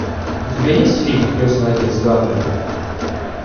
у тебя есть фильм крестный отец гарлема